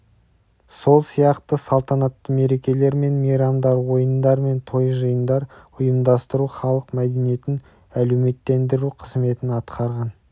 сол сияқты салтанатты мерекелер мен мейрамдар ойындар мен той-жиындар ұйымдастыру халық мәдениетін әлеуметтендіру қызметін атқарған